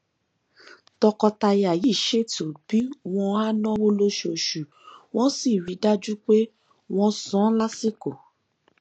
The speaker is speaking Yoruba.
tọkọtaya yìí ṣètò bí wọn á náwó lóṣooṣù wọn sì rí i dájú pé wọn san lásìkò